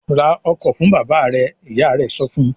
"Ra ọkọ̀ fún bàbá rẹ!" Ìyá rẹ̀ sọ fún un.